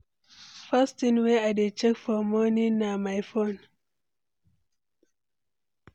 First thing wey I dey check for morning na my phone.